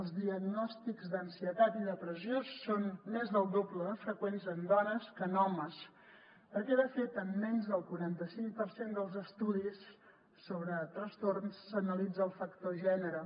els diagnòstics d’ansietat i depressió són més del doble de freqüents en dones que en homes perquè de fet en menys del quaranta cinc per cent dels estudis sobre trastorns s’analitza el factor gènere